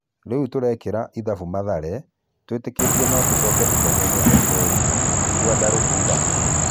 "Rĩu turekĩra ithabu Mathare, twĩtĩkĩtie no tũcoke ithenyainí rĩa kerĩ, " Gwandarũ kuuga.